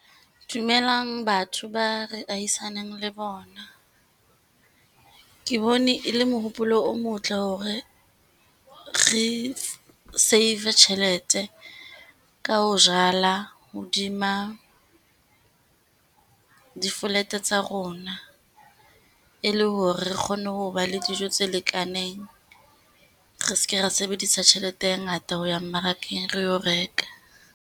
Dumelang batho ba re ahisaneng le bona. Ke bone e le mohopolo o motle, hore re save-e tjhelete ka ho jala hodima di-flat-e tsa rona, e le hore re kgone ho ba le dijo tse lekaneng, re seke ra sebedisa tjhelete e ngata ho ya mmarakeng re yo reka.